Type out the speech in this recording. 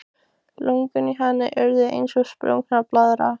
Lungun í henni urðu eins og sprungin blaðra.